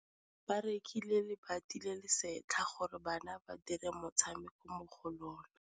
Ba rekile lebati le le setlha gore bana ba dire motshameko mo go lona.